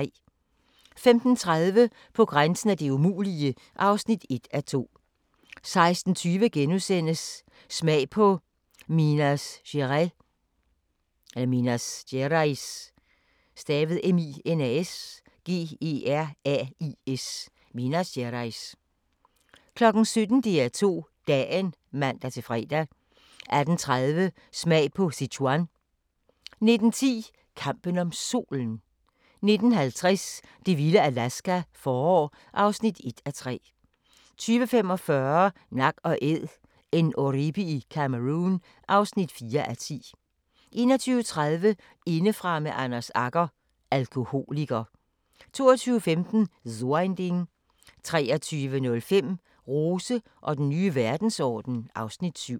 15:30: På grænsen af det umulige (1:2) 16:20: Smag på Minas Gerais * 17:00: DR2 Dagen (man-fre) 18:30: Smag på Sichuan 19:10: Kampen om Solen 19:50: Det vilde Alaska – forår (1:3) 20:45: Nak & Æd – en oribi i Cameroun (4:10) 21:30: Indefra med Anders Agger – Alkoholiker 22:15: So ein Ding 23:05: Rose og den nye verdensorden (Afs. 7)